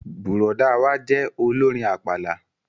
Bùrọ̀dá wa jẹ́ olórin àpàlà